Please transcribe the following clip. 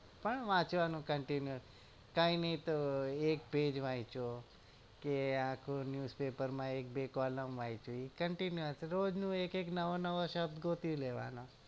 પણ વાંચવાનું continue નઈ તો એક પેજ વાચ્યો કે આખું news paper માં એક બે kollam વાચ્યું continue હશે તો એક એક નવો નવો શબ્દ ગોતી લેવાનો